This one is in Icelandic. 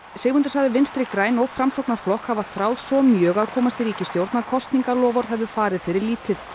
Sigmundur sagði Vinstri græn og Framsóknarflokk hafa þráð svo mjög að komast í ríkisstjórn að kosningaloforð hefðu farið fyrir lítið